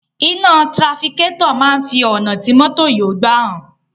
Iná tirafikátọ̀ máa ń fi ọ̀nà tí mọ́tò yóò gbà hàn.